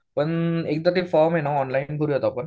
प एकदा ते फॉर्म आहेत ना ऑनलाईन करूया आपण.